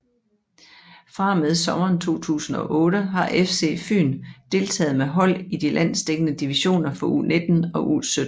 Fra og med sommeren 2008 har FC FYN deltaget med hold i de landsdækkende divisioner for U19 og U17